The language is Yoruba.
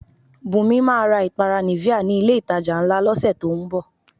Bùnmi máa ra ìpara Nivea ni ilé-ìtajà ńlá lọ́sẹ̀ tó ń bọ̀